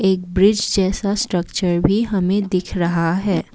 एक ब्रिज जैसा स्ट्रक्चर भी हमें दिख रहा है।